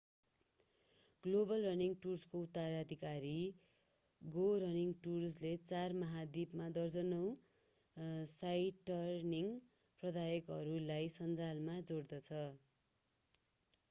global running टुर्सको उत्तराधिकारी go running टुर्सले चार महाद्वीपमा दर्जनौं साइटरनिङ प्रदायकहरूलाई सञ्जालमा जोड्दछ